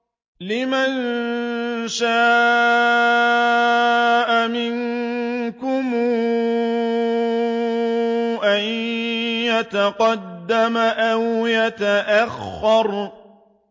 لِمَن شَاءَ مِنكُمْ أَن يَتَقَدَّمَ أَوْ يَتَأَخَّرَ